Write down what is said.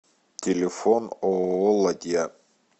телефон ооо ладья